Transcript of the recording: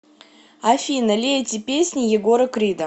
афина лейте песни егора крида